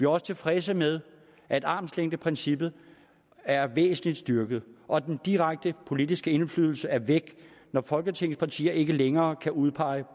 også tilfredse med at armslængdeprincippet er væsentlig styrket og at den direkte politiske indflydelse er væk når folketingets partier ikke længere kan udpege